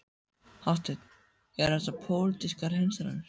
Hafsteinn: Eru þessar pólitískar hreinsanir?